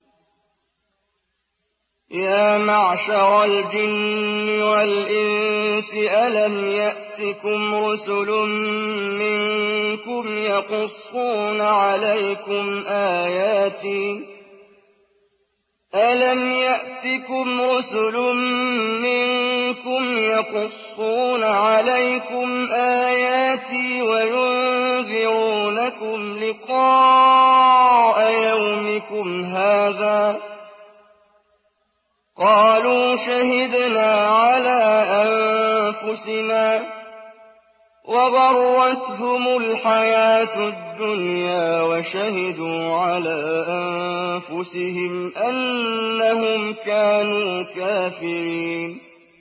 يَا مَعْشَرَ الْجِنِّ وَالْإِنسِ أَلَمْ يَأْتِكُمْ رُسُلٌ مِّنكُمْ يَقُصُّونَ عَلَيْكُمْ آيَاتِي وَيُنذِرُونَكُمْ لِقَاءَ يَوْمِكُمْ هَٰذَا ۚ قَالُوا شَهِدْنَا عَلَىٰ أَنفُسِنَا ۖ وَغَرَّتْهُمُ الْحَيَاةُ الدُّنْيَا وَشَهِدُوا عَلَىٰ أَنفُسِهِمْ أَنَّهُمْ كَانُوا كَافِرِينَ